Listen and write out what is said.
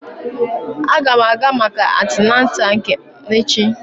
Aga m aga maka antenatal m echi